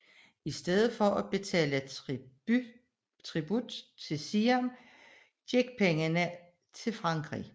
I stedet for at betale tribut til Siam gik pengene til Frankrig